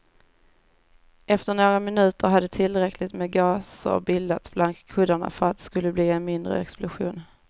Efter några minuter hade tillräckligt med gaser bildats bland kuddarna för att det skulle bli en mindre explosion.